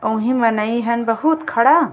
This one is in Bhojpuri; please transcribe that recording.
ओहि मनई हन बहुत खड़ा --